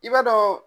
I b'a dɔn